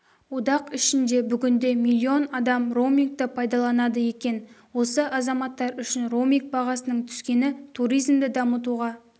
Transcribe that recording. одақ ішінде бүгінде млн адам роумингті пайдаланады екен осы азаматтар үшін роуминг бағасының түскені туризмді дамытуға